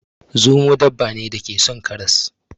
Zomo dabba ne da ke son karas.